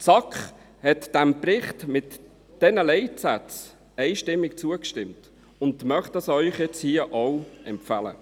Die SAK hat diesem Bericht mit diesen Leitsätzen einstimmig zugestimmt und möchte Ihnen dies hier nun auch empfehlen.